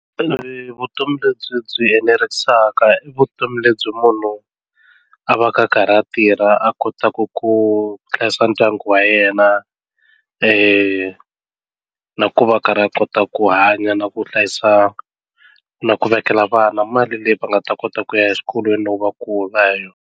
vutomi lebyi enerisaka i vutomi lebyi munhu a va ka a karhi a tirha a kota ku ku hlayisa ndyangu wa yena na ku va a karhi a kota ku hanya na ku hlayisa na ku vekela vana mali leyi va nga ta kota ku ya exikolweni loko va kula.